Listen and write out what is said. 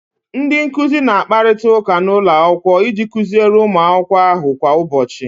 Ndị nkuzi na-akparịta ụka n'ụlọ akwụkwọ iji kuziere ụmụ akwụkwọ ahụ kwa ụbọchị